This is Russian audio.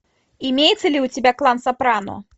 имеется ли у тебя клан сопрано